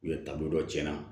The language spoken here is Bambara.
U ye taabolo dɔ tiɲɛna